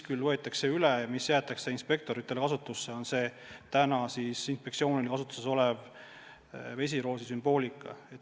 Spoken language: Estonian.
Küll võetakse üle ja jäetakse inspektorite kasutusse inspektsioonis kasutusel olev vesiroosi sümbool.